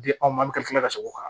Di anw ma an bɛ ka tila ka segin o kan